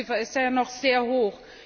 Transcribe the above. Die Dunkelziffer ist noch sehr hoch.